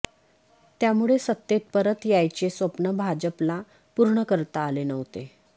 त्यामुळे सत्तेत परत यायचे स्वप्न भाजपला पूर्ण करता आले नव्हते